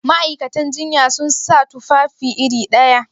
Ma'aikatan jinya sun sa tufafi iri ɗaya?